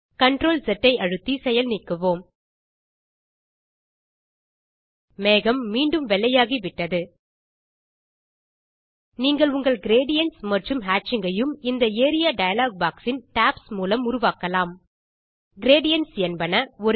CTRL S ஐ அழுத்தி செயல் நீக்குவோம் மேகம் மீண்டும் வெள்ளையாகிவிட்டது நீங்கள் உங்கள் கிரேடியன்ட்ஸ் மற்றும் ஹேட்சிங் ஐயும் இந்த ஏரியா டயலாக் பாக்ஸ் இன் டாப்ஸ் மூலம் உருவாக்கலாம் கிரேடியன்ட்ஸ் என்பன